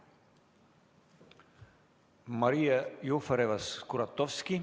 Maria Jufereva-Skuratovski.